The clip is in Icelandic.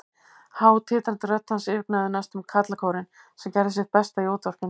Há, titrandi rödd hans yfirgnæfði næstum karlakórinn, sem gerði sitt besta í útvarpinu.